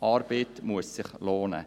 Arbeit muss sich lohnen.